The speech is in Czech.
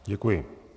Děkuji.